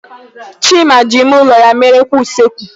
Chima ji ime ụlọ ya mere kwa usekwu.